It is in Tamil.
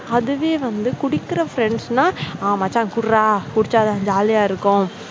அதுவே வந்து குடிக்கிற friends நா ஆ மச்சான் குடிடா குடிச்சா தான் jolly யா இருக்கும்.